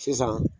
Sisan